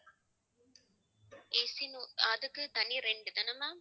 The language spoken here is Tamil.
AC அதுக்கு தனி rent தானே ma'am